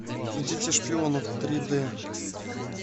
дети шпионов три д